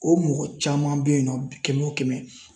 O mɔgɔ caman bɛ yen nɔ kɛmɛ o kɛmɛ